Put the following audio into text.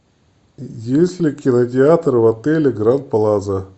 есть ли кинотеатр в отеле гранд плаза